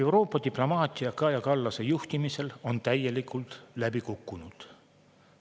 Euroopa diplomaatia on Kaja Kallase juhtimisel täielikult läbi kukkunud.